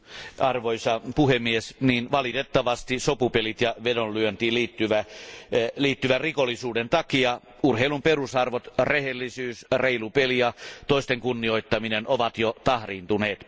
Arvoisa puhemies, valitettavasti sopupelien ja vedonlyöntiin liittyvän rikollisuuden takia urheilun perusarvot rehellisyys, reilu peli ja toisten kunnioittaminen ovat jo tahriintuneet.